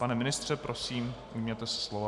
Pane ministře, prosím, ujměte se slova.